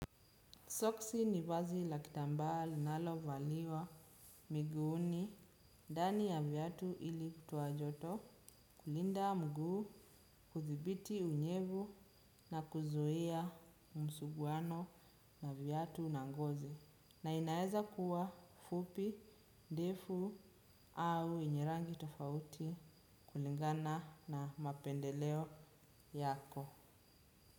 Soksi ni vazi la kitamba linalo valiwa miguuni ndani ya viatu ili kutoa joto kulinda mguu kuthibiti unyevu na kuzuia msuguano na viatu na ngozi. Na inaeza kuwa fupi, ndefu au yenye rangi tofauti kulingana na mapendeleo yako.